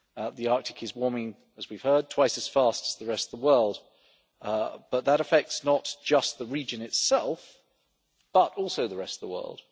The Arctic is warming, as we have heard, twice as fast as the rest of the world, but that affects not just the region itself, but also the rest of the world.